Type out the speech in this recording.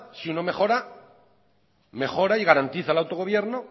si uno mejora mejora y garantiza el autogobierno